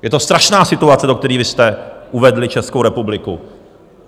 Je to strašná situace, do které vy jste uvedli Českou republiku.